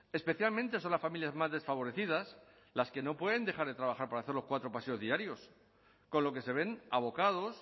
especialmente son las familias más desfavorecidas las que no pueden dejar de trabajar para hacer los cuatro paseos diarios con lo que se ven abocados